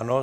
Ano.